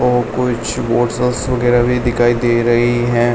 ओ कुछ वगैरह भी दिखाई दे रही हैं।